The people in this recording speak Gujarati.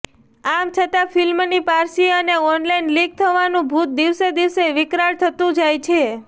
આમ છતાં ફિલ્મની પારસી અને ઓનલાઇન લીક થવાનું ભૂત દિવસે દિવસે વિકરાળ થતું જાય છે